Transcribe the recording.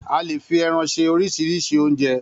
A le fi ẹran se oríṣiríṣi oúnjẹ.